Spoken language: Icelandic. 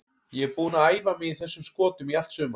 Ég er búinn að æfa mig í þessum skotum í allt sumar.